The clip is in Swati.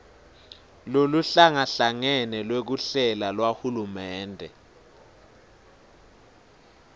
loluhlangahlangene lwekuhlela lwahulumende